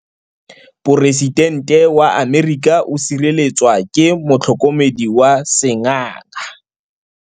Poresitêntê wa Amerika o sireletswa ke motlhokomedi wa sengaga.